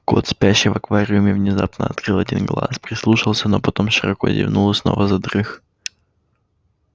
кот спящий в аквариуме внезапно открыл один глаз прислушался но потом широко зевнул и снова задрых